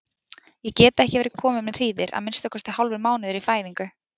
Ég get ekki verið komin með hríðir, að minnsta kosti hálfur mánuður í fæðingu?